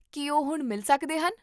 ਕੀ ਉਹ ਹੁਣ ਮਿਲ ਸਕਦੇ ਹਨ?